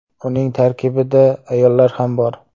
Uning tarkibida ayollar ham bor.